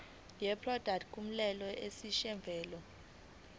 yeproduct kumele isetshenziswe